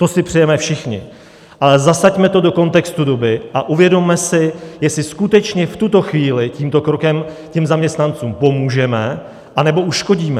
To si přejeme všichni, ale zasaďme to do kontextu doby a uvědomme si, jestli skutečně v tuto chvíli tímto krokem těm zaměstnancům pomůžeme, anebo uškodíme.